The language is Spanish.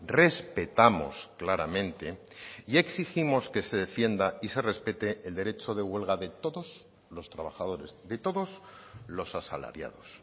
respetamos claramente y exigimos que se defienda y se respete el derecho de huelga de todos los trabajadores de todos los asalariados